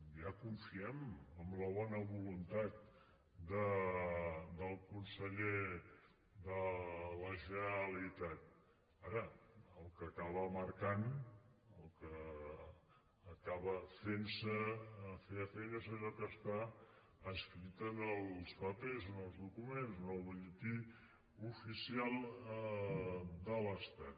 ja confiem en la bona voluntat del conseller de la generalitat ara el que acaba marcant el que acaba fent se fefaent és allò que està escrit en els papers en els documents en el butlletí oficial de l’estat